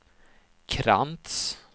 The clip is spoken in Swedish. Krantz